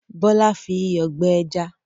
Bọ́lá fi iyọ̀ gbẹ ẹja?